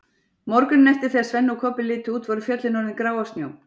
Morguninn eftir þegar Svenni og Kobbi litu út voru fjöllin orðin grá af snjó.